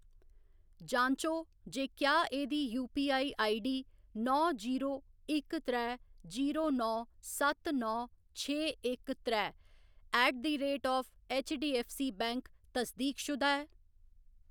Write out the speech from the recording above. जांचो जे क्या एह्‌‌दी यूपीआई आईडीडी नौ जीरो इक त्रैऽ जीरो नौ सत्त नौ छे इक त्रैऽ at the rate of HDFC bank तस्दीकशुदा ऐ।